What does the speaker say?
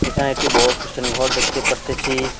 এখানে একটি বড়ো খ্রিষ্টান ঘর দেখতে পারতেছি।